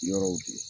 Yɔrɔw de